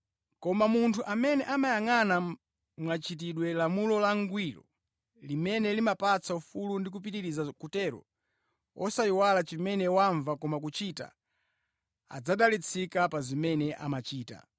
Koma munthu amene amayangʼana mwachidwi lamulo langwiro limene limapatsa ufulu ndi kupitiriza kutero, osayiwala chimene wamva koma kuchita adzadalitsika pa zimene amachita.